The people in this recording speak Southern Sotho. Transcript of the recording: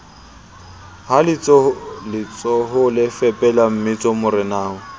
ha letsohole fepela mmetso morenao